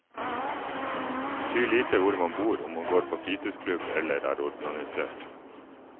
Det betyr lite hvor man bor, om man går på fritidsklubb, eller er organisert.